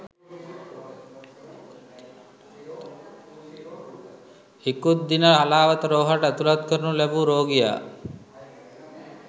ඉකුත්දින හලාවත රෝහලට ඇතුලත් කරනු ලැබූ රෝගියා